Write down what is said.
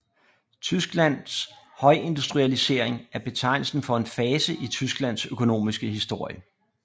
Tysklands højindustrialisering er betegnelsen for en fase i Tysklands økonomiske historie